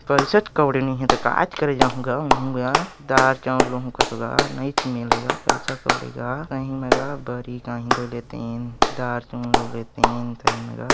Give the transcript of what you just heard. पैसाच कौड़ी नी हे त कायच करे जाहूँ गा महु गा दाल चावल लुहूँ कथो गा नयीच मिले गा पैसा कौड़ी गा सही मे गा ताहि ला लेतें दार चउर लेतें सही मे गा।